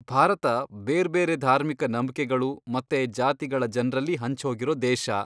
ಭಾರತ ಬೇರ್ಬೇರೆ ಧಾರ್ಮಿಕ ನಂಬ್ಕೆಗಳು ಮತ್ತೆ ಜಾತಿಗಳ ಜನ್ರಲ್ಲಿ ಹಂಚ್ಹೋಗಿರೋ ದೇಶ.